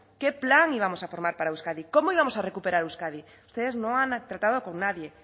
qué plan íbamos a formar para euskadi cómo íbamos a recuperar euskadi ustedes no han tratado con nadie